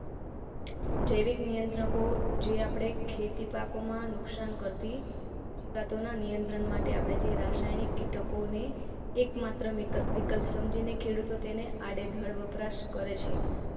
જૈવિક નિયંત્રકો જે આપડે ખેતી પાકોમાં નુકસાન કરતી જીવાતોના નિયંત્રણ માટે આપણે જે રાસાયણિક ઘટકોને એકમાત્ર વિકલ્પ સમજીને ખેડૂતો તેને આડેધડ વપરાશ કરેં છે.